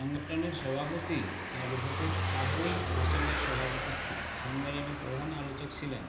সংগঠনের সভাপতি এডভোকেট আবুল হাসেমের সভাপতিত্বে সম্মেলনে প্রধান আলোচক ছিলেন